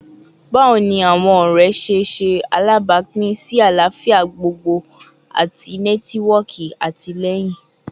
Bawo ni awọn ọrẹ ṣe ṣe alabapin si alafia gbogbogbo ati nẹtiwọọki atilẹyin?